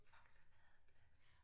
Faxe Ladeplads